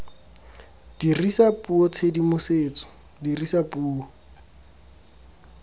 dirisa puo tshedimosetso dirisa puo